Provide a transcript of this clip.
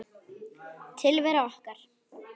Tilvera okkar